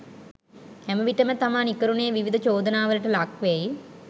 හැමවිටම තමා නිකරුනේ විවිධ චෝදනාවලට ලක්වෙයි.